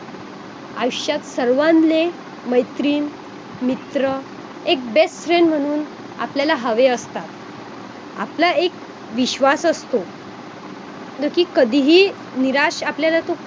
आयुष्यात सर्वांले मैत्रीण मित्र एक best friend म्हणून आपल्याला हवे असतात आपला एक विश्वास असतो जो कि कधीही निराश आपल्याला तो